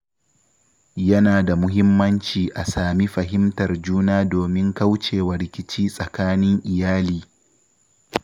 Yana da muhimmanci a sami fahimtar juna domin kauce wa rikici tsakanin iyali.